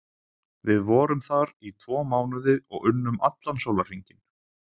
Við vorum þar í tvo mánuði og unnum allan sólarhringinn.